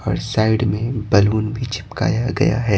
और साइड में बैलून भी चिपकाया गया है।